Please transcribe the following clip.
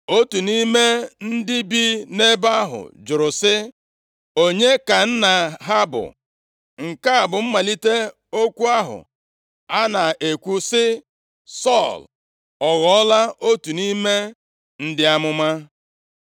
Otu nʼime ndị bi nʼebe ahụ jụrụ sị, “Onye ka nna ha bụ?” Nke a bụ mmalite okwu ahụ a na-ekwu sị, “Sọl ọ ghọọla otu nʼime ndị amụma?”